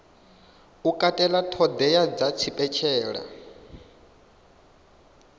u katela ṱhoḓea dza tshipentshela